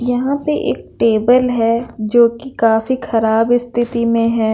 यहाँ पे एक टेबल हैं जो कि काफी खराब स्थिति में हैं।